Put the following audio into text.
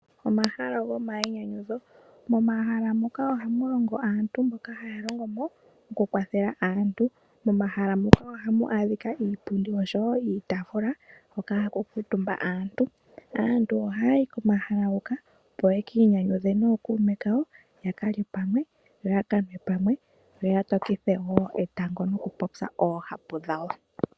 Omahala gomainyanyudho, momahala muka ohamulongo aantu haya longo mo taya kwathele aantu. Ohamu adhika iipundi niitaafula haku kuutumba aantu. Aantu ohaya yi komahala ngoka opo yeki inyanyudhe nookuume kawo yakalye pamwe noya kanwe pamwe yo yatokithe wo etango nokupopya oohapu dhawo.